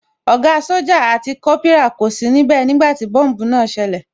Ògá sójà àti Kópírà kò sí níbẹ̀ nígbàtí tí bọ́mbùù náà ṣẹlẹ̀